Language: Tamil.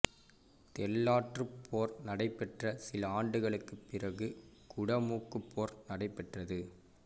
தெள்ளாற்றுப் போர் நடைபெற்ற சில ஆண்டுகளுக்குப் பிறகு குடமூக்குப் போர் நடைபெற்றது